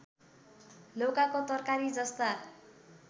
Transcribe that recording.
लौकाको तरकारी जस्ता